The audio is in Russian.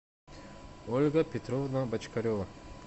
ольга петровна бочкарева